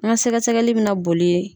N ka sɛgɛsɛgɛli bɛ na bolii.